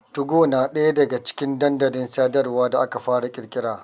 Tugo na ɗaya daga cikin dandalin sadarwa da aka fara ƙirƙira.